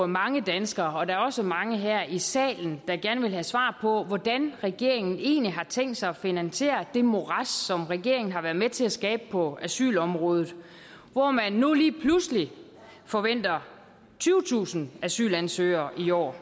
mange danskere og der er også mange her i salen der gerne vil have svar på hvordan regeringen egentlig har tænkt sig at finansiere det morads som regeringen har været med til at skabe på asylområdet hvor man nu lige pludselig forventer tyvetusind asylansøgere i år